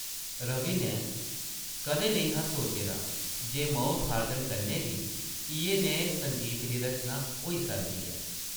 रवि नै कदें नेईं हा सोचे दा जे माउथ-आर्गन कन्नै बी इʼयै नेह् संगीत दी रचना होई सकदी ऐ ।